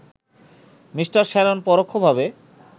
Me. Sharon পরোক্ষভাবে